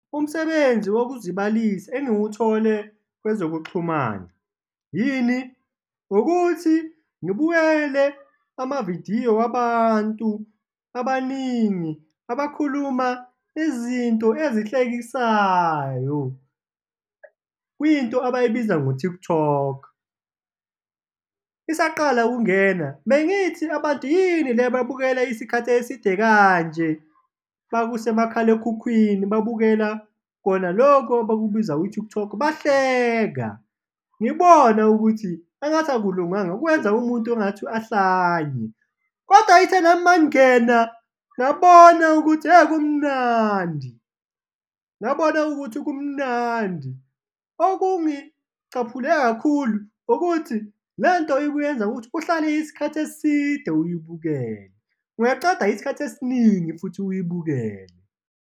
Umsebenzi wokuzilibalisa engiwuthole kwezokuxhumana yini? Ukuthi ngibukele amavidiyo wabantu abaningi abakhuluma izinto ezihlekisayo, kwinto abayibiza ngo-TikTok. Isaqala ukungena, bengithi abantu yini le ababukela isikhathi eside kanje? Makusemakhalekhukhwini, babukela kona loku abakubiza u-TikTok, bahleka ngibona ukuthi engathi akulunganga, kwenza umuntu engathi ahlanye kodwa ithe nami mangingena, ngabona ukuthi hhe, kumnandi, ngabona ukuthi kumnandi. Okungicaphule kakhulu ukuthi le nto ikuyenza ukuthi uhlale isikhathi eside uyibukele, ungaceda isikhathi esiningi futhi uyibukele.